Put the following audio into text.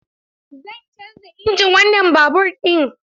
Zan canza injin wannan babur ɗin.